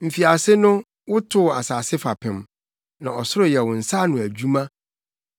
Mfiase no wotoo asase fapem, na ɔsoro yɛ wo nsa ano adwuma.